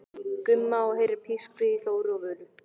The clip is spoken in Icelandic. Gumma og heyrir pískrið í Þóru og Völu.